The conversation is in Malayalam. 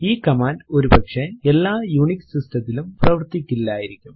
ഈ കമാൻഡ് ഒരുപക്ഷെ എല്ലാ യുണിക്സ് സിസ്റ്റംസ് ത്തിലും പ്രവർത്തിക്കില്ലായിരിക്കും